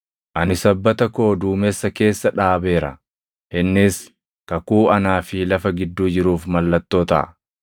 Ani sabbata koo duumessa keessa dhaabeera; innis kakuu anaa fi lafa gidduu jiruuf mallattoo taʼa.